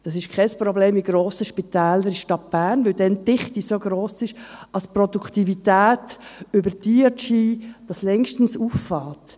Dies ist in grossen Spitälern der Stadt Bern kein Problem, weil die Dichte so gross ist, dass die Produktivität über die DRG dies längstens auffängt.